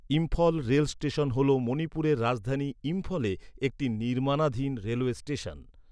Imphal rail station হল মণিপুরের রাজধানী ইম্ফলে একটি নির্মাণাধীন রেলওয়ে স্টেশন।